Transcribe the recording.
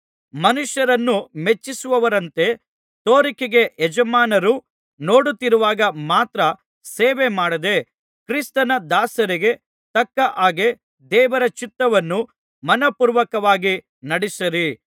ಮನುಷ್ಯರನ್ನು ಮೆಚ್ಚಿಸುವವರಂತೆ ತೋರಿಕೆಗೆ ಯಜಮಾನರು ನೋಡುತ್ತಿರುವಾಗ ಮಾತ್ರ ಸೇವೆಮಾಡದೇ ಕ್ರಿಸ್ತನ ದಾಸರಿಗೆ ತಕ್ಕ ಹಾಗೆ ದೇವರ ಚಿತ್ತವನ್ನು ಮನಃಪೂರ್ವಕವಾಗಿ ನಡಿಸಿರಿ